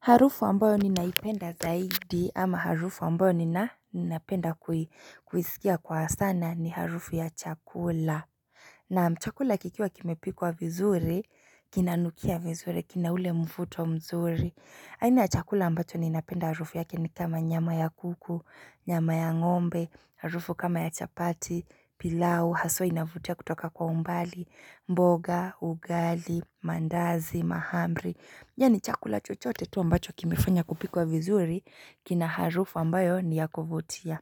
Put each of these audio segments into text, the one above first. Harufu ambayo ninaipenda zaidi ama harufu ambayo nina napenda kui kuisikia kwa sana ni harufu ya chakula. Naam chakula kikiwa kimepikwa vizuri, kinanukia vizuri, kina ule mvuto mzuri. Aina ya chakula ambacho ninapenda harufu yake ni kama nyama ya kuku, nyama ya ngombe, harufu kama ya chapati, pilau, haswa inavutia kutoka kwa umbali, mboga, ugali, mandazi, mahamri. Yani chakula chochote tu ambacho kimefanya kupikwa vizuri kina harufu ambayo ni ya kuvutia.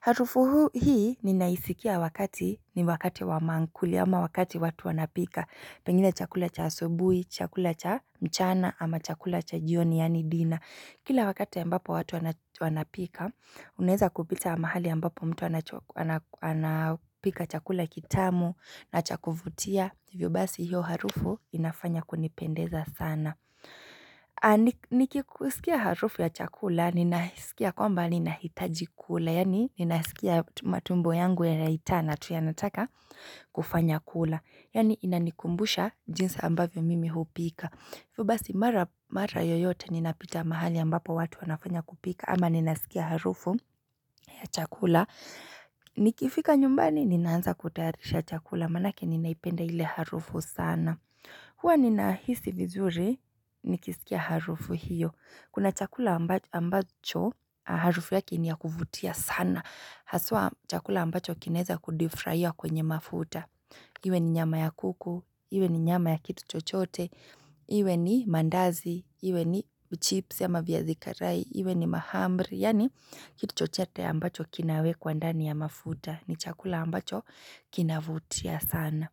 Harufu huu hii ninaisikia wakati ni wakati wamamkuli ama wakati watu wanapika. Pengine chakula cha asubuhi, chakula cha mchana ama chakula cha jioni yani dina. Kila wakati ambapo watu wanach wanapika, unaeza kupita aaa mahali ambapo mtu anapika chakula kitamu na cha kuvutia. Hivyo basi hiyo harufu inafanya kunipendeza sana. Niki kusikia harufu ya chakula ninahisikia kwamba ninahitaji kula yani ninasikia matumbo yangu yanaitana tu yanataka kufanya kula yani inanikumbusha jinsi ambavyo mimi hupika. Hivyo basi mara p yoyote ninapita mahali ambapo watu wanafanya kupika ama ninasikia harufu ya chakula Nikifika nyumbani ninaanza kutayarisha chakula manake ninaipenda ile harufu sana. Huwa ninahisi vizuri nikisikia harufu hiyo. Kuna chakula amba ambacho harufu yake ni ya kuvutia sana. Haswa chakula ambacho kinaeza kudifraia kwenye mafuta. Iwe ni nyama ya kuku, iwe ni nyama ya kitu chote, iwe ni mandazi, iwe ni uchipsi ama viazi karai, iwe ni mahamri. Yani kitu chochete ambacho kinawekwa ndani ya mafuta. Ni chakula ambacho kinavutia sana.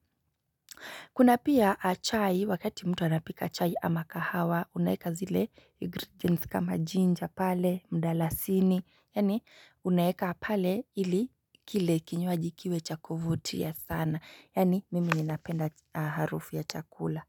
Kuna pia a chai wakati mtu anapika chai ama kahawa, unaeka zile ingredients kama jinja pale, mdalasini, yani unayeka pale ili kile kinywaji kiwe cha kuvutia sana, yani mimi ninapenda harufu ya chakula.